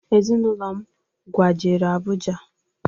Ezịnụlo m kwajere Abụja